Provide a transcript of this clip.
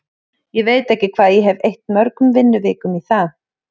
Ég veit ekki hvað ég hef eytt mörgum vinnuvikum í það.